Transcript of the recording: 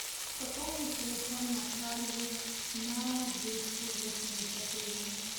пополни телефон натальи на двести восемьдесят гривен